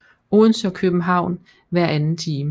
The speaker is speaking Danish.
Odense og København hver anden time